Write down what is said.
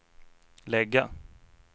lägga